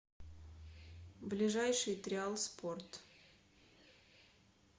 ближайший триал спорт